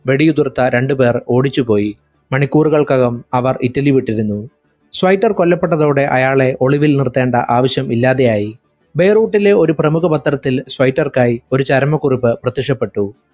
വെടിയുതിർത്ത രണ്ടു പേർ ഓടിച്ചുപോയി മണിക്കൂറുകൾക്കകം അവർ ഇറ്റലി വിട്ടിരുന്നു സ്വൈറ്റർ കൊല്ലപ്പെട്ടതോടെ അയാളെ ഒളിവിൽ നിർത്തേണ്ട ആവശ്യം ഇല്ലാതെയായി ബെയ്‌റൂട്ടിലെ ഒരു പ്രമുഖ പത്രത്തിൽ സ്വൈറ്റർക്കായി ഒരു ചരമക്കുറിപ്പ് പ്രത്യക്ഷപ്പെട്ടു